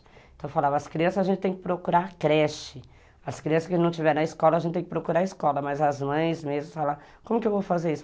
Então eu falava, as crianças a gente tem que procurar creche, as crianças que não estiveram na escola a gente tem que procurar escola, mas as mães mesmo falavam, como que eu vou fazer isso?